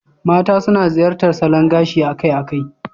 Mata suna ziyartar salon gashi akai-akai.